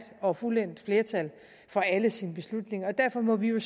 og fuldendt flertal for alle sine beslutninger og derfor må vi jo